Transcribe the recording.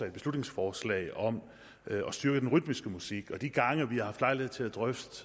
et beslutningsforslag om at styrke den rytmiske musik de gange vi har haft lejlighed til at drøfte